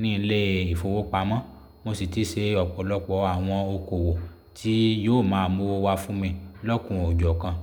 ní ilé ìfowópamọ́, mo sì ti ṣe ọ̀pọ̀lọpọ̀ àwọn okòwò tí yóò máa mú owó wá fún mi lọ́kùn o jọ́ kan.